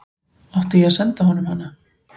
Átti ég að senda honum hana?